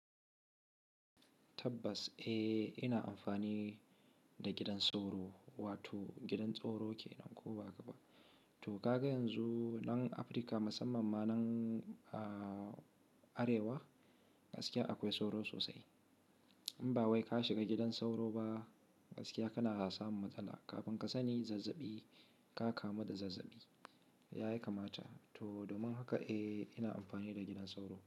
Tabbas, eh ina amfani da gidan sauro, wato gidan tsaro kenan ko ba haka ba. To kaga yanzu nan Afirka musamman ma nan Arewa gaskiya akwai sauro sosai. In ba wai ka shiga gidan sauro ba gaskiya kana samun matsala. Kafin ka sani zazzabi ka kamu da zazzabi, ya yi kamata. To domin haka eh ina amfani da gidan sauro.